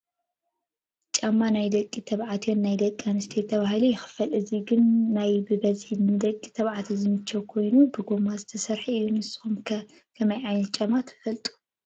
ጫማ ናይ ደቂ ተባዕትዮን ናይ ደቂ ኣንስትዮን ተባሂሉ ይኽፈል፡፡ እዚ ግን ናይ ብበዝሒ ንደቂ ተባዕትዮ ዝምችው ኮይኑ ብጎማ ዝተሰርሐ እዩ፡፡ ንስኹም ከ ከመይ ዓይነት ጫማ ትፈልጡ?